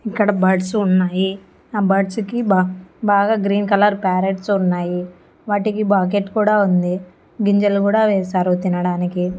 ఇక్కడ బర్డ్స్ ఉన్నాయి ఆ బర్డ్స్ కి బా బాగా గ్రీన్ కలర్ ప్యారేట్స్ ఉన్నాయి వాటికి బకెట్ కూడా ఉంది గింజలు కూడా వేసారు తినడానికి.